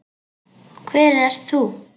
Hver ert þú?